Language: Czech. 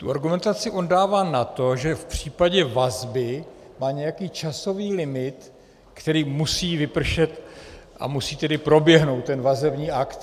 Tu argumentaci on dává na to, že v případě vazby má nějaký časový limit, který musí vypršet, a musí tedy proběhnout ten vazební akt.